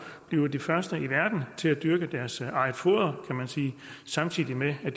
blive de første i verden til at dyrke deres eget foder samtidig med at